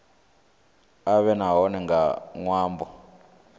a vhe hone nga ṅwambo